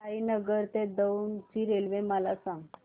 साईनगर ते दौंड ची रेल्वे मला सांग